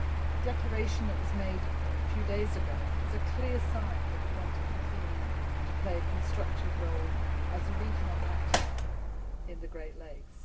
The declaration that was made a few days ago is a clear sign that we want to continue to play a constructive role as a regional actor in the Great Lakes.